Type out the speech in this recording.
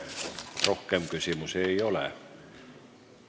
Teile rohkem küsimusi ei ole.